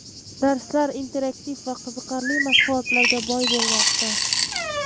Darslar interaktiv va qiziqarli mashg‘ulotlarga boy bo‘lmoqda.